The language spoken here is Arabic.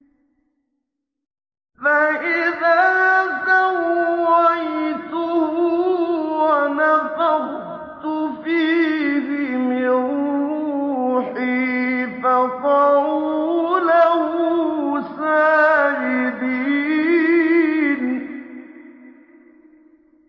فَإِذَا سَوَّيْتُهُ وَنَفَخْتُ فِيهِ مِن رُّوحِي فَقَعُوا لَهُ سَاجِدِينَ